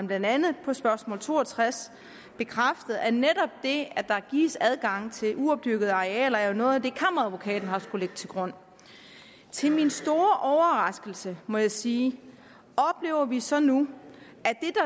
blandt andet på spørgsmål to og tres bekræftet at netop det at der gives adgang til uopdyrkede arealer er noget af det kammeradvokaten har skullet lægge til grund til min store overraskelse må jeg sige oplever vi så nu